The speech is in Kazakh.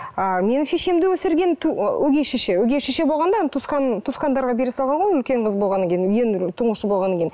ы менің шешемді өсірген өгей шеше өгей шеше болғанда туысқандарға бере салған ғой үлкен қыз болғаннан кейін ең тұңғышы болғаннан кейін